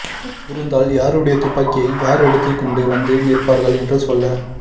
இருந்தால் யாருடைய துப்பாக்கியை யார் எடுத்துக் கொண்டு வந்து நிற்பார்கள் என்று சொல்ல